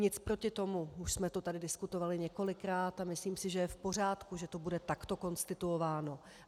Nic proti tomu, už jsme to tady diskutovali několikrát a myslím si, že je v pořádku, že to bude takto konstituováno.